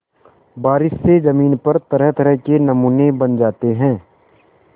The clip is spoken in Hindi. बारिश से ज़मीन पर तरहतरह के नमूने बन जाते हैं